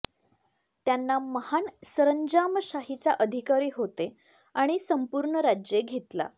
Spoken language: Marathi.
त्यांना महान सरंजामशाहीचा अधिकारी होते आणि संपूर्ण राज्ये घेतला